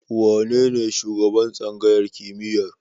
Wanene shugaban tsangayar kimiyyar?